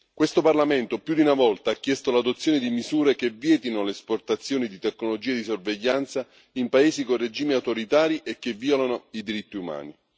Questo Parlamento più di una volta ha chiesto l'adozione di misure che vietino l'esportazione di tecnologia di sorveglianza in paesi con regimi autoritari e che violano i diritti umani.